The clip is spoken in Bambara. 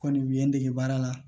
Kɔni u ye n dege baara la